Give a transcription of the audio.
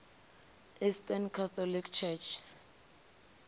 eastern catholic churches